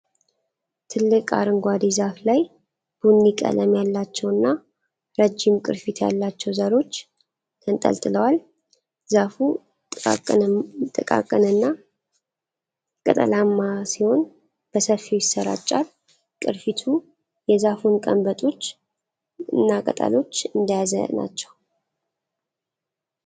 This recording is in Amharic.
ትልቅ አረንጓዴ ዛፍ ላይ ቡኒ ቀለም ያላቸውና ረጅም ቅርፊት ያላቸው ዘሮች ተንጠልጥለዋል። ዛፉ ጥቃቅንና ቅጠላማ ሲሆን በሰፊው ይሰራጫል። ቅርፊቱ የዛፉን ቀንበጦችና ቅጠሎች እንደያዘ ናቸው።